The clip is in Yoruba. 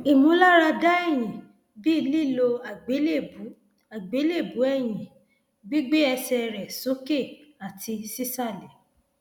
ìmúláradá ẹyìn bí lílo àgbélébùú àgbélébùú ẹyìn gbígbé ẹsẹ rẹ sókè àti sísàlẹ